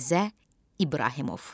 Mirzə İbrahimov.